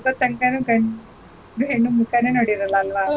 ಆಗೋ ತಂಕನೂ ಗಂಡ್ ಹೆಣ್ಣ್ ಮುಖಾನೇ ನೋಡಿರಲ್ಲ ಅಲ್ವಾ.